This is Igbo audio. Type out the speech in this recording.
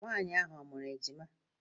Nwaanyị ahụ ọ mụụrụ ejima?